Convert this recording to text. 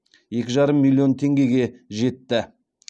екі жарым миллион теңгеге жетті